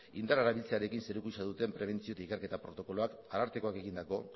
indarra erabiltzearekin zerikusia duten prebentzio eta ikerketa protokoloak arartekoak egindako